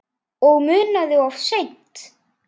Og munað of seint.